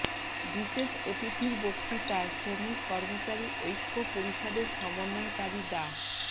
বিশেষ অতিথির বক্তৃতায় শ্রমিক কর্মচারী ঐক্য পরিষদের সমন্বয়কারী ডা